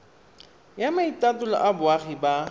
ya maitatolo a boagi ba